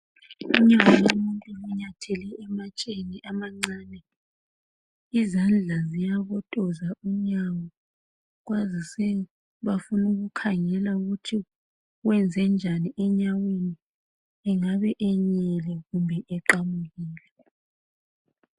Unyawo lomuntu onyathele amatsheni amancane izandla ziyabotoza unyawo kwazise bafuna ukukhangela ukuthi wenzenjani enyaweni engabe enyele kumbe eqamukile.